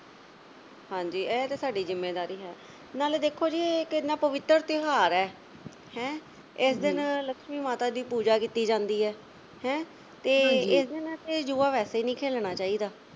ਹਾਂਜੀ ਐ ਤੇ ਸਾਡੀ ਜਿੰਮੇਵਾਰੀ ਹੈ ਨਾਲੇ ਦੇਖੋ ਜੇ ਇਹ ਤੇ ਐਨਾ ਪਵਿੱਤਰ ਤਿਉਹਾਰ ਹੈ, ਹੈਂ ਇਸ ਦਿਨ ਲਕਸ਼ਮੀ ਮਾਤਾ ਦੀ ਪੂਜਾ ਕੀਤੀ ਜਾਂਦੀ ਹੈ ਹੈਂ ਤੇ ਇਸ ਦਿਨ ਜੂਆ ਵੈਸੇ ਹੀ ਨਹੀਂ ਖੇਲਣਾ ਚਾਹੀਦਾ